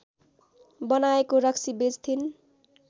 बनाएको रक्सी बेच्थिन्